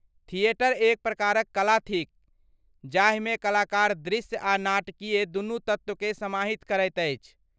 Theatre एक प्रकारक कला थिक जाहिमे कलाकार दृश्य आ नाटकीय दुनू तत्वकेँ समाहित करैत अछि।